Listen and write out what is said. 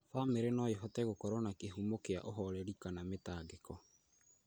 Bamĩrĩ no ĩhote gũkorwo kĩhumo kĩa ũhoreri kana mĩtangĩko,